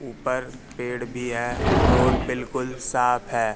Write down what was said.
ऊपर पेड़ भी है रोड बिलकुल साफ है।